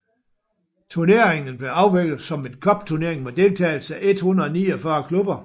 Turneringen blev afviklet som en cupturnering med deltagelse af 149 klubber